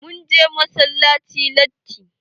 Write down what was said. Mun je massalaci latti.